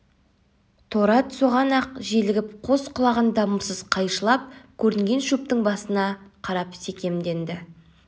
торы ат соған-ақ желігіп қос құлағын дамылсыз қайшылап көрінген шөптің басына қарап секемденеді